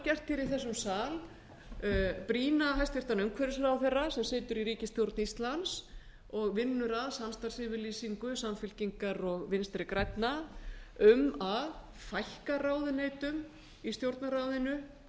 gert hér í þessum sal brýna hæstvirtur umhverfisráðherra sem situr í ríkisstjórn íslands og vinnur að samstarfsyfirlýsingu samfylkingar og vinstri grænna um að fækka ráðuneytum í stjórnarráðinu